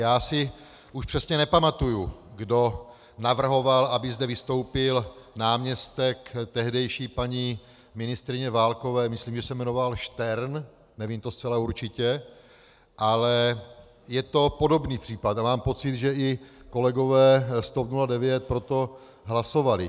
Já si už přesně nepamatuji, kdo navrhoval, aby zde vystoupil náměstek tehdejší paní ministryně Válkové, myslím, že se jmenoval Štern, nevím to zcela určitě, ale je to podobný případ a mám pocit, že i kolegové z TOP 09 pro to hlasovali.